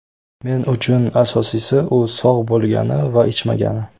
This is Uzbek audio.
Men uchun asosiysi u sog‘ bo‘lgani va ichmagani.